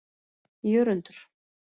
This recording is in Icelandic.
Jörundur